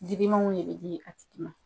Digimanw de be di a tigi ma.